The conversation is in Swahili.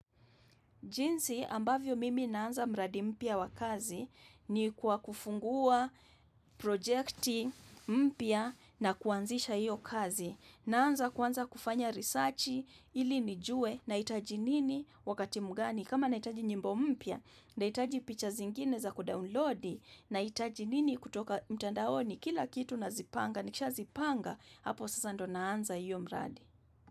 Jinsi ambavyo mimi naanza mradi mpya wa kazi ni kwa kufungua projekti mpya na kuanzisha hiyo kazi. Naanza kwanza kufanya risachi ilinijue nahitaji nini wakati mgani. Kama nahitaji nyimbo mpya nahitaji picha zingine za kudownloadi nahitaji nini kutoka mtandaoni kila kitu na zipanga. Nikisha zipanga hapo sasa ndo naanza hiyo mradi.